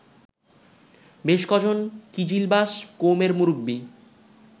বেশ কজন কিজিলবাস কৌমের মুরব্বি